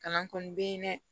Kalan kɔni bɛ ye dɛ